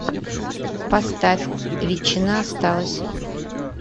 поставь ветчина осталась